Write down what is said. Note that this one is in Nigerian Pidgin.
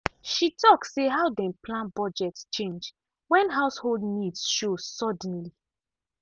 she talk say how dem plan budget change when household needs show suddenly